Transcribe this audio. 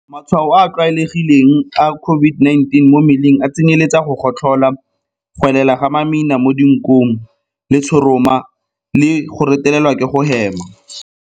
Matshwao a a tlwaelegileng a COVID-19 mo mmeleng a tsenyeletsa go gotlhola, go elela ga mamina mo dinkong, letshoroma le go retelelwa ke go hema.